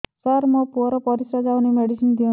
ସାର ମୋର ପୁଅର ପରିସ୍ରା ଯାଉନି ମେଡିସିନ ଦିଅନ୍ତୁ